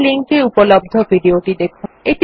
এই লিঙ্ক এ উপলব্ধ ভিডিও টি দেখুন